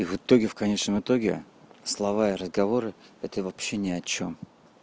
в итоге в конечном итоге слова и разговоры это вообще ни о чем